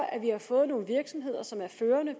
at vi har fået nogle virksomheder som er førende